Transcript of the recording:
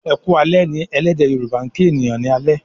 "Eku alè" ní ẹlẹdẹ yoruba' kín ènìyàn ní alé.